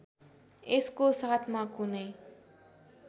यसको साथमा कुनै